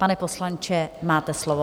Pane poslanče, máte slovo.